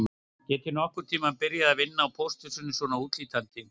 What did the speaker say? Get ég nokkurn tíma byrjað að vinna á pósthúsinu svona útlítandi